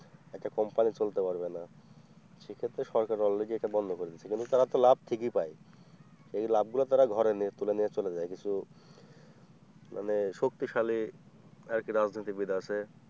একটা company চলতে পারবে না সে ক্ষেত্রে সরকার অলরেডি একটা বন্ধ করে দিয়েছে কিন্তু তারা তো লাভ ঠিকই পায় এই লাভগুলো তারা ঘরে নিয়ে তুলে নিয়ে চলে যাই কিছু মানে শক্তিশালী আর কি রাজনীতিবিদ আছে।